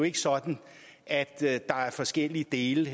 ikke sådan at der er forskellige dele